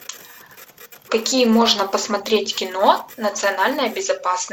какие можно посмотреть кино национальная безопасность